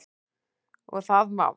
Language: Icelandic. Og það má.